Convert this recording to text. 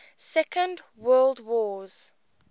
second world wars